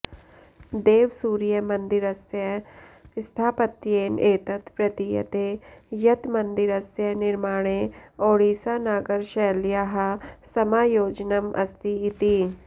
देवसूर्यमन्दिरस्य स्थापत्येन एतत् प्रतीयते यत् मन्दिरस्य निर्माणे ओडिसानागरशैल्याः समायोजनम् अस्ति इति